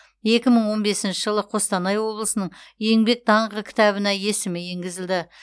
екі мың он бесінші жылы қостанай облысының еңбек даңқы кітабына есімі енгізілді